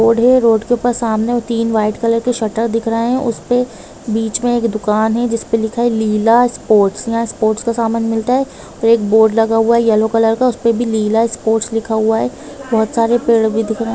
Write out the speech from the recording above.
Road हैं road के ऊपर सामने तीन वाईट कलर के शटर दिख रहे हैं उस पे बिच मे एक दुकान हैं जिस पे लिखा हैं लीला स्पोर्ट्स यहाँ स्पोर्ट्स का समान मिलता हैं और एक बोर्ड लगा हुआ हैं येल्लो कलर का उसपे भी लीला स्पोर्ट्स लिखा हुआ हैं बहुत सारे पेड भी दिख रहे हैं।